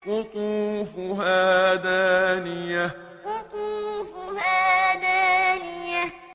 قُطُوفُهَا دَانِيَةٌ قُطُوفُهَا دَانِيَةٌ